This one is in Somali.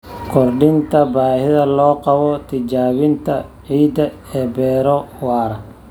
Kordhinta baahida loo qabo tijaabinta ciidda ee beero waara.